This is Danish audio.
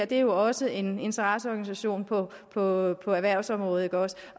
det er jo også en interesseorganisation på på erhvervsområdet og